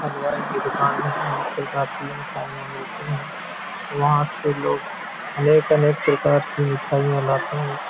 हलवाई की दुकान में अनेक प्रकार की मिठाइयाँ मिलती हैं वहाँ से लोग अनेक- अनेक प्रकार की मिठाइयाँ लाते हैं।